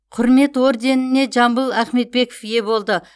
құрмет орденіне жамбыл ахметбеков ие болды